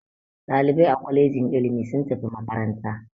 Ɗalibai a kwalejin ilimi sun tafi makaranta.